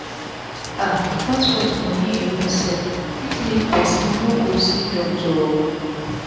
ah transport moni alone sef fit make pesin no go see doctor o